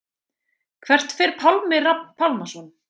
Hvert fer Pálmi Rafn Pálmason?